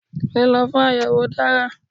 Lílo fún àyèwò dára